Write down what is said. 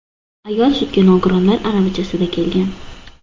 Ayol sudga nogironlar aravachasida kelgan.